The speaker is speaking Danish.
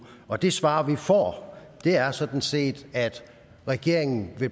og det svar vi får er sådan set at regeringen